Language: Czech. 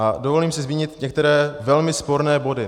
A dovolím si zmínit některé velmi sporné body.